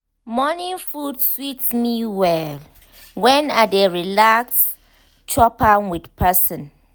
morning food sweet me well when i dey relax chop am with person